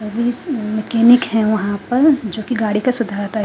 Mechanic है वहां पर जो कि गाड़ी का सुधारता है।